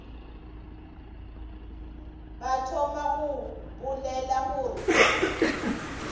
ba thoma go bolela gore